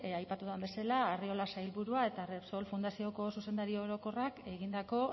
aipatu dudan bezala arriola sailburuak eta repsol fundazioko zuzendari orokorrak egindako